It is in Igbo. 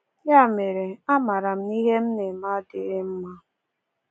Ya mere, a maara m na ihe m na-eme adịghị mma.